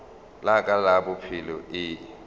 la ka la bophelo e